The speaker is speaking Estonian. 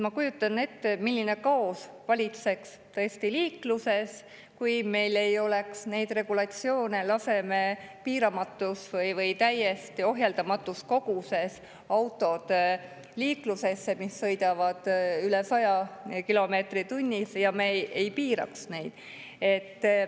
Ma kujutan ette, milline kaos valitseks tõesti liikluses, kui meil ei oleks neid regulatsioone: laseme piiramatus või täiesti ohjeldamatus koguses liiklusesse autod, mis sõidavad üle 100 kilomeetri tunnis, ja ei piira neid.